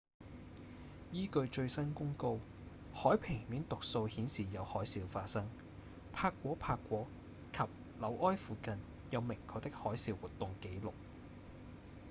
依據最新公告海平面讀數顯示有海嘯發生帕果帕果及紐埃附近有明確的海嘯活動紀錄